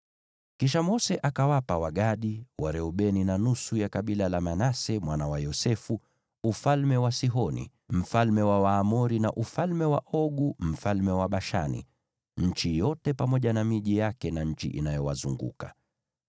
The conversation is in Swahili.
Kisha Mose akawapa Wagadi, Wareubeni, na nusu ya kabila la Manase mwana wa Yosefu ufalme wa Sihoni mfalme wa Waamori, na ufalme wa Ogu mfalme wa Bashani, nchi yote pamoja na miji yake, na nchi inayowazunguka.